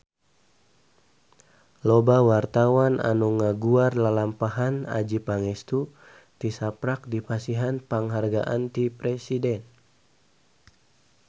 Loba wartawan anu ngaguar lalampahan Adjie Pangestu tisaprak dipasihan panghargaan ti Presiden